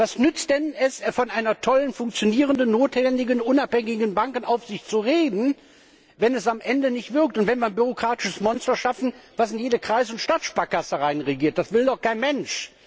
Was nützt es denn, von einer tollen, funktionierenden, notwendigen und unabhängigen Bankenaufsicht zu reden, wenn es am Ende nicht wirkt und wenn wir ein bürokratisches Monster schaffen, das in jede Kreis und Stadtsparkasse hineinregiert? Das will doch kein Mensch!